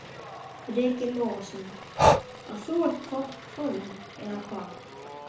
Breki Logason: Og þú ert í topp formi, eða hvað?